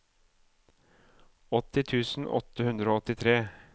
åtti tusen åtte hundre og åttitre